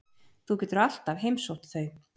Þú getur alltaf heimsótt þau.